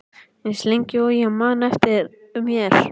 Eins lengi og ég man eftir mér.